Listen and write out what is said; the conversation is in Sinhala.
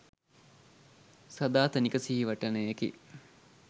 සදාතනික සිහිවටනයකි.